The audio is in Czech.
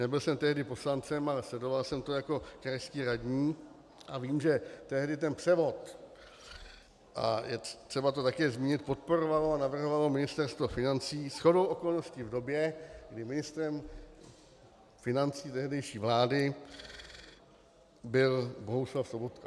Nebyl jsem tehdy poslancem, ale sledoval jsem to jako krajský radní a vím, že tehdy ten převod, a je třeba to také zmínit, podporovalo a navrhovalo Ministerstvo financí, shodou okolností v době, kdy ministrem financí tehdejší vlády byl Bohuslav Sobotka.